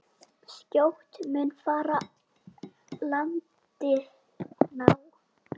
Skjótt mun farið landi ná.